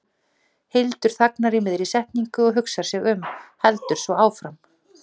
Hildur þagnar í miðri setningu og hugsar sig um, heldur svo áfram